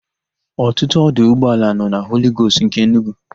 Ọtụtụ ọdụ ụgbọala nọ na Holigost nke Enugwu.